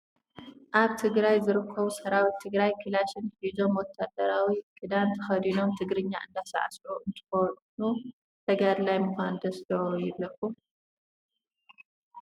ኣብ ትግራይ ዝርከቡ ሰራዊት ትግራይ ካላሽን ሒዞም ወታሃደራዊ ክዳን ተከዲኖም ትግርኛ እንዳሳዕስዑ እንትኮኑ ፣ ተጋዳላይ ምኳን ደስ ዶ ይብለኩም ?